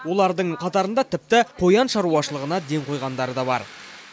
олардың қатарында тіпті қоян шаруашылығына ден қойғандары да бар